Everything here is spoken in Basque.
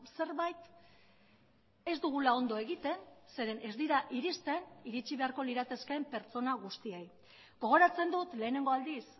zerbait ez dugula ondo egiten zeren ez dira irizten iritzi beharko liratekeen pertsona guztiei gogoratzen dut lehenengo aldiz